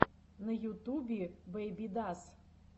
на ютубе бэйбидас